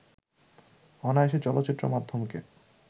অনায়াসে চলচ্চিত্র মাধ্যমকে